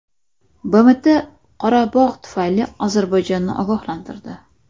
BMT Qorabog‘ tufayli Ozarbayjonni ogohlantirdi.